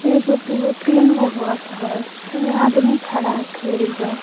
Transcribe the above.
एगो दुगो तीन गो बस ह इहा आदमी खड़ा ह एखे एहिजा.